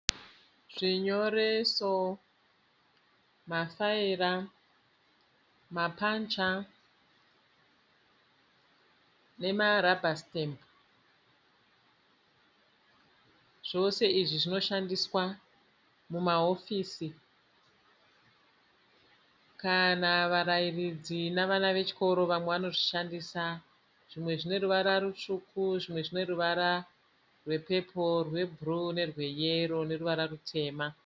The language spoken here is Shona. Zvinyoreso , mafaira, mapancha nemarabha sitembi, zvose izvi zvinoshandiswa mumaofisi kana varairidzi nevana vechikoro vamwe vanozvishandisa. Zvimwe zvineruvara rutsvuku, zvimwe zvineruvara rwepepuru, rwebhuruu nerweyero neruvara rutema.